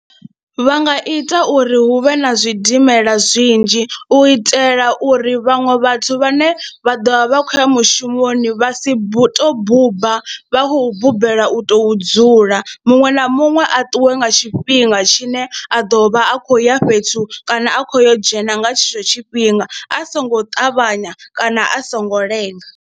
Vha nga ita uri hu vhe na zwidimela zwinzhi u itela uri vhaṅwe vhathu vhane vha ḓo vha vha khou ya mushumoni vha si tou buba vha khou bombela u tou dzula muṅwe na muṅwe a ṱuwe nga tshifhinga tshine a ḓo vha a khou ya fhethu kana a khou yo dzhena nga tshetsho tshifhinga a songo ṱavhanya kana a songo lenga.